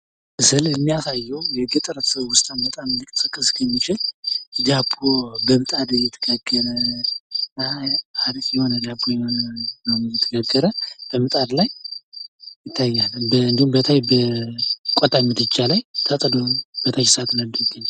ምስል የሚያሳየው የገጠር ትውስታን በጣም ሊቀሰቅስ የሚችል ዳቦ በምጣድ እየተጋገረ ፤ አረቄ የሆነ ዳቦ ነው የተጋገረ በምጣድ ላይ ይታየኛል እንዲሁም በቆጥ ምድጃ ላይ ተጥዶ ነው የሚገኘው።